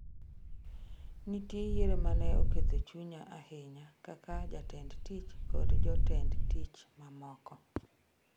"""Nitie yiero ma ne oketho chunya ahinya kaka jatend tich - kod jotend tich mamoko."